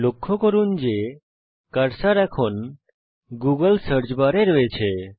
লক্ষ্য করুন যে কার্সার এখন গুগল সার্চ বারে রয়েছে